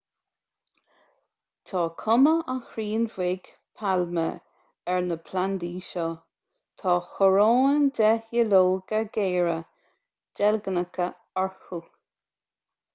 tá cuma an chrainn bhig pailme ar na plandaí seo tá coróin de dhuilleoga géara deilgneacha orthu